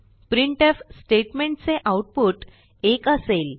printf statement चे output 1 असेल